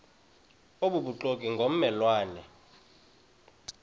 obubuxoki ngomme lwane